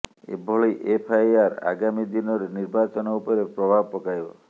ଏଭଲି FIR ଆଗାମୀ ଦିନରେ ନିର୍ବାଚନ ଉପରେ ପ୍ରଭାବ ପକାଇବ